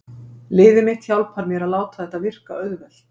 Liðið mitt hjálpar mér að láta þetta virka auðvelt.